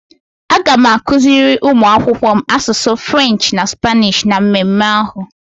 Aga m akuziri ụmụ akwụkwọ m asụsụ French na Spanish na mmemme ahụ.